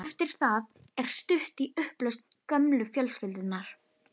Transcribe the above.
Eftir það er stutt í upplausn gömlu fjölskyldunnar.